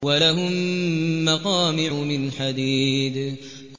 وَلَهُم مَّقَامِعُ مِنْ حَدِيدٍ